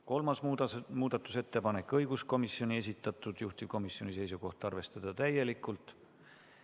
Kolmaski muudatusettepanek on õiguskomisjoni esitatud, juhtivkomisjoni seisukoht: arvestada seda täielikult.